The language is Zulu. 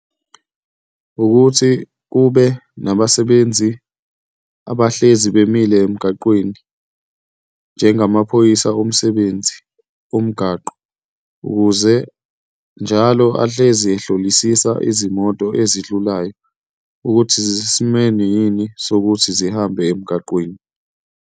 Ukuthi kube nabasebenzi abahlezi bemile emgaqweni, njengamaphoyisa omsebenzi omgaqo, ukuze njalo ahlezi ehlolisisa izimoto ezidlulelayo ukuthi zisesimeni yini sokuthi zihambe emgaqweni.